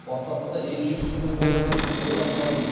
бастапқыда емшек сүтінен болар деп ойлап қалдым